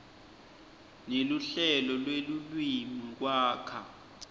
neluhlelo lwelulwimi kwakha